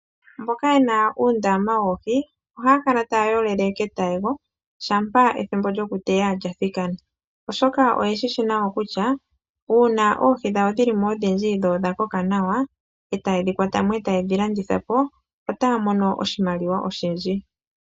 Mboka ye na uundama woohi oha ya kala ta ya yolele ketayego, shampa ethimbo lyo kuteya lya thikana, oshoka oye shi shi nawa kutya uuna oohi dhawo dhi li mo odhindji dho odha koka nawa e ta ye dhi kwata mo, e ta ye dhi landitha po ota ya mono oshimaliwa oshindji.